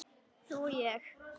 Þú og ég.